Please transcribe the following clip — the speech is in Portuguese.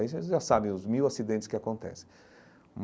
Aí vocês já sabem os mil acidentes que acontecem.